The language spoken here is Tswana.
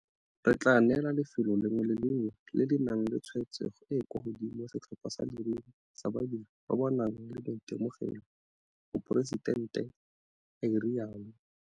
Re tla neela lefelo le lengwe le le lengwe le le nang le tshwaetsego e e kwa godimo setlhopha sa leruri sa badiri ba ba nang le maitemogelo, Moporesitente a rialo.